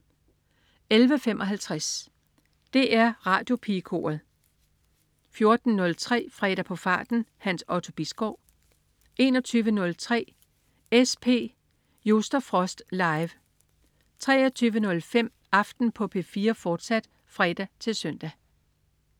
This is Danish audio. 11.55 DR Radiopigekoret 14.03 Fredag på farten. Hans Otto Bisgaard 21.03 SP Just & Frost. Live 23.05 Aften på P4, fortsat (fre-søn)